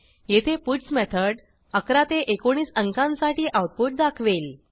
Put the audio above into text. येथे puts method 11 ते 19 अंकांसाठी आऊटपुट दाखवेल